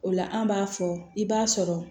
O la an b'a fɔ i b'a sɔrɔ